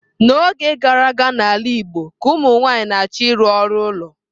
N'oge gara aga n'ala Igbo ka ụmụ nwanyị na-achọ ịrụ ọrụ ụlọ.